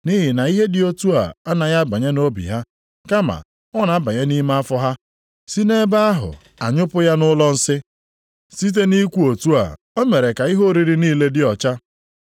Nʼihi na ihe dị otu a anaghị abanye nʼobi ha, kama ọ na-abanye nʼime afọ ha, si nʼebe ahụ a nyụpụ ya nʼụlọ nsị.” (Site nʼikwu otu a, o mere ka ihe oriri niile dị ọcha.)